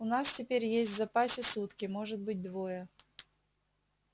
у нас теперь есть в запасе сутки может быть двое